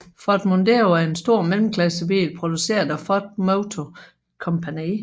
Ford Mondeo er en stor mellemklassebil produceret af Ford Motor Company